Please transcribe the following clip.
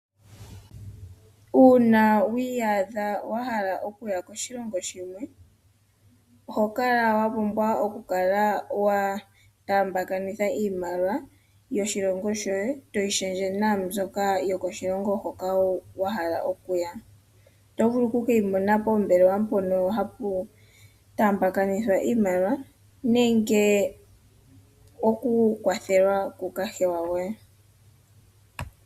Uuna wi iyadha wahala okuya koshilongo shilwe ohokala wapumbwa okukala wa taambakanitha iimaliwa yoshilongo shoye toyi shendje naambyoka yokoshilongo hoka wahala okuya . Otovulu oku keyimona pombelewa mpono hapu taambakanitha nenge oku kwathela ku kahewa goye.